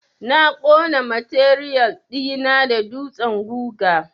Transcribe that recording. Na ƙona matiriyal ɗi na da dutsen guga.